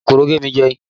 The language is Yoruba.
Kòkòrò gé mi jẹ